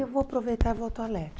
Eu vou aproveitar e vou ao toalete.